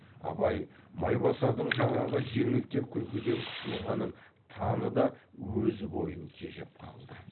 абай майбасардың жаңағы жеңілтек күлкіден қысылғанын таныды өз бойын тежеп қалды